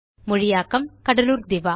மொழியாக்கம் கடலூர் திவா